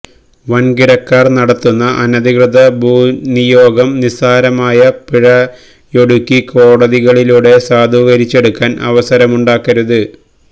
വന്കിടക്കാര് നടത്തുന്ന അനധികൃത ഭൂനിനിയോഗം നിസ്സാരമായ പിഴയൊടുക്കി കോടതികളിലൂടെ സാധൂകരിച്ചെടുക്കാന് അവസരമുണ്ടാക്കരുത്